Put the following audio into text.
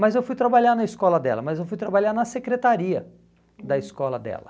Mas eu fui trabalhar na escola dela, mas eu fui trabalhar na secretaria da escola dela.